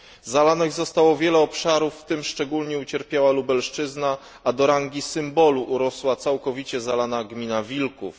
Zalanych zostało wiele obszarów, w tym szczególnie ucierpiała Lubelszczyzna, a do rangi symbolu urosła całkowicie zalana gmina Wilków.